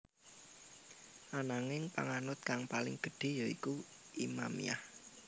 Ananging panganut kang paling gedhé ya iku Imamiyah